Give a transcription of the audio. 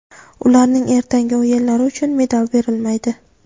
ularning ertangi o‘yinlari uchun medal berilmaydi.